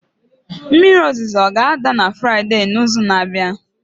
mmiri ozuzo ọ ga-ada na Fraịde n'izu na-abịa?